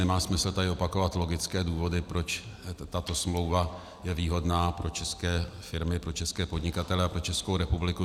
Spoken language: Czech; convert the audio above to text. Nemá smysl tady opakovat logické důvody, proč tato smlouva je výhodná pro české firmy, pro české podnikatele a pro Českou republiku.